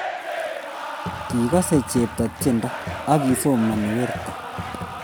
Kigase chepto tiendo, agisomani werto